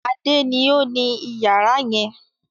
Adé ni ó ní ìyàrá yẹn.